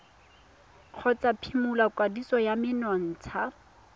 kgotsa phimola kwadiso ya menontsha